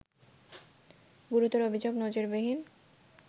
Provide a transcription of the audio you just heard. গুরুতর অভিযোগ নজিরবিহীন